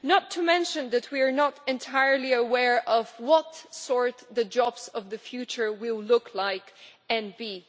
not to mention that we are not entirely aware what the jobs of the future will look like and be.